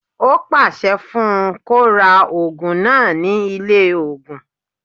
Ó pàṣẹ fún un kó ra ògùn náà ní ilé ògùn